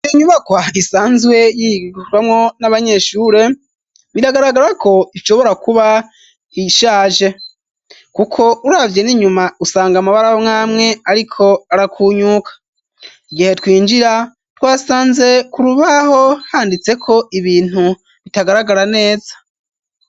Ibi inyubako hahgisanzwe yirwamwo n'abanyeshure biragaragarako ivyobora kuba ishaje, kuko uravye ninyuma usanga amabara mwamwe, ariko arakunyuka igihe twinjira twasanze kurubaho handitseko ibintu bitagaragara neza.